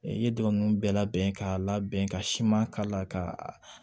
I ye dɔ ninnu bɛɛ labɛn k'a labɛn ka siman k'a la ka